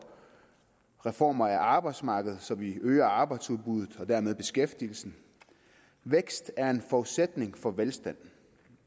reformer af arbejdsmarkedet så vi øger arbejdsudbuddet og dermed beskæftigelsen vækst er en forudsætning for velstand